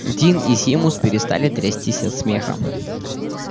дин и симус перестали трястись от смеха